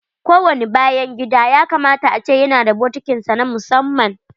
Ko wani bayan gida ya kamata a ce na da bokitin sa na musamman.